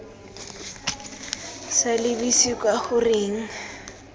sa lebise kwa go reng